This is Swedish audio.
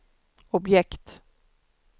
objekt